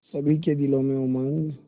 सभी के दिलों में उमंग